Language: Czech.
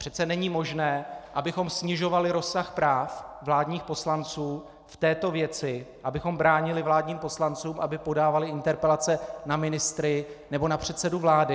Přece není možné, abychom snižovali rozsah práv vládních poslanců v této věci, abychom bránili vládním poslancům, aby podávali interpelace na ministry nebo na předsedu vlády.